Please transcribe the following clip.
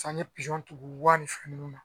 San ye pizɔn tugu wari fɛn nunnu na